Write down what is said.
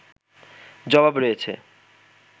জবাব রয়েছে